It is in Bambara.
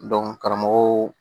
karamɔgɔw